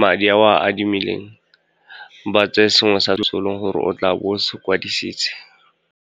madi ao a adimileng, ba tseye sengwe se e le goreng o tla bo se kwadisitse.